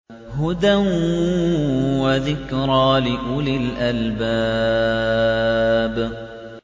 هُدًى وَذِكْرَىٰ لِأُولِي الْأَلْبَابِ